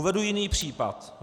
Uvedu jiný případ.